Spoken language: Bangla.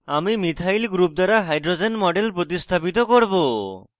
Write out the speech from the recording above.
আমরা মিথাইল group দ্বারা hydrogen model প্রতিস্থাপিত করব